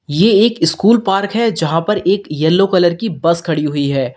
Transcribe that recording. ये एक school park है जहां पर एक येलो कलर की बस खड़ी हुई है।